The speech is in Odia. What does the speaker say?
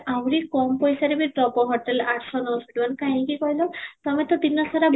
ଆହୁରି କମ ପଇସାରେ ବି ଦବ hotel ଆଠ ଶହ ନଅ ଶହ ଟଙ୍କାରେ କାହିଁକି କହିଲ ତମେ ତ ଦିନ ସାରା